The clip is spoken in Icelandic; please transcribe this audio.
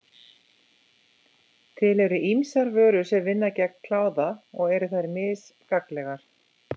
Til eru ýmsar vörur sem vinna gegn kláða og eru þær mis gagnlegar.